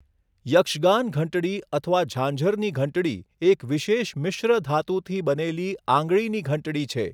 યક્ષગાન ઘંટડી અથવા ઝાંઝરની ઘંટડી એક વિશેષ મિશ્ર ધાતુથી બનેલી આંગળીની ઘંટડી છે.